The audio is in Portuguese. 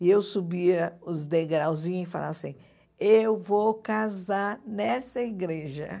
E eu subia os degrauzinhos e falava assim, eu vou casar nessa igreja.